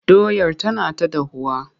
Doyar tana ta dahuwa.